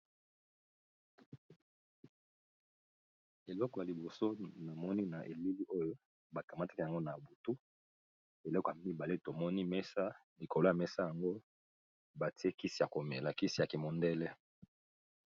Eleko ya liboso na moni na elili oyo ba kamataki yango na butu eleko ya mibale to moni mesa nikolas mesa yango ba tie kisi ya ko mela kisi ya ki mondele .